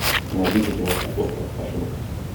найди ка киношку остров ошибок